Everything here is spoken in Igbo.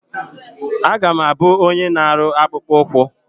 A ga m abụ onye na-arụ akpụkpụ ụkwụ.